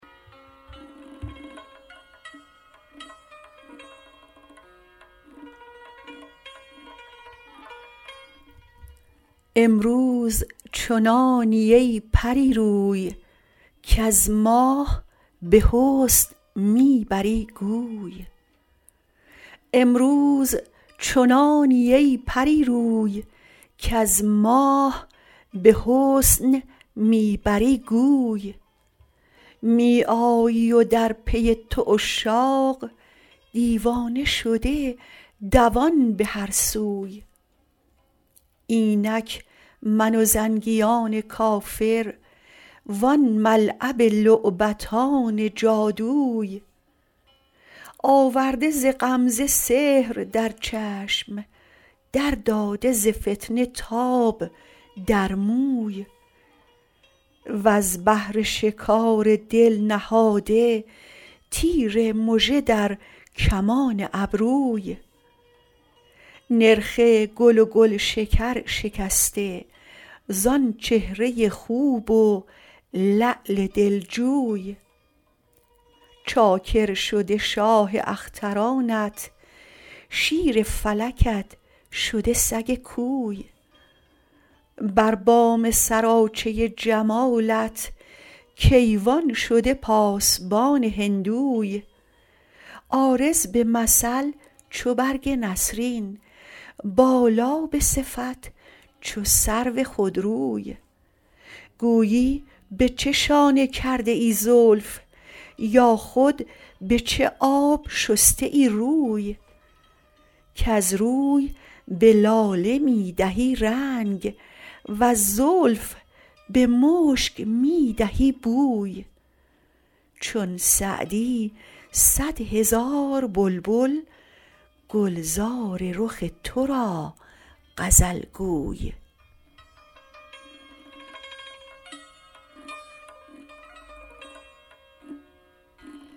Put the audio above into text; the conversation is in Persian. امروز چنانی ای پری روی کز ماه به حسن می بری گوی می آیی و در پی تو عشاق دیوانه شده دوان به هر سوی اینک من و زنگیان کافر وان ملعب لعبتان جادوی آورده ز غمزه سحر در چشم در داده ز فتنه تاب در موی وز بهر شکار دل نهاده تیر مژه در کمان ابروی نرخ گل و گلشکر شکسته زآن چهره خوب و لعل دلجوی چاکر شده شاه اخترانت شیر فلکت شده سگ کوی بر بام سراچه جمالت کیوان شده پاسبان هندوی عارض به مثل چو برگ نسرین بالا به صفت چو سرو خودروی گویی به چه شانه کرده ای زلف یا خود به چه آب شسته ای روی کز روی به لاله می دهی رنگ وز زلف به مشک می دهی بوی چون سعدی صد هزار بلبل گلزار رخ تو را غزل گوی